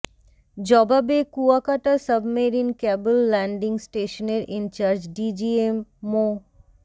জবাবে Kuakata submarine cable landing স্টেশনের in charge DGM মো